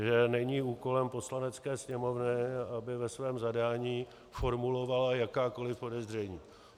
Že není úkolem Poslanecké sněmovny, aby ve svém zadání formulovala jakákoli podezření.